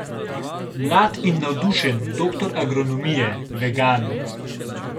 Mlad in navdušen, doktor agronomije, vegan.